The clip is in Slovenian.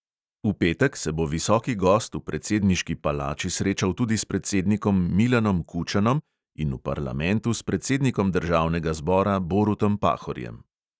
V petek se bo visoki gost v predsedniški palači srečal tudi s predsednikom milanom kučanom in v parlamentu s predsednikom državnega zbora borutom pahorjem.